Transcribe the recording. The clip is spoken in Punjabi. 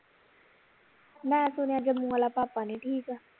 ਮੈਂ ਸੁਣਿਆ ਜੰਮੂ ਵਾਲਾ ਭਾਪਾ ਨੀ ਠੀਕ